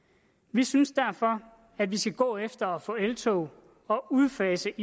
vi synes derfor at vi skal gå efter at få eltog og udfase